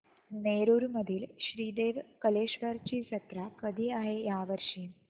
नेरुर मधील श्री देव कलेश्वर ची जत्रा कधी आहे या वर्षी